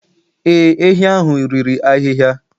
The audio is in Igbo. Ee, ehi ahụ riri ahịhịa